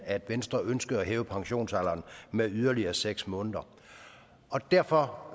at venstre ønskede at hæve pensionsalderen med yderligere seks måneder derfor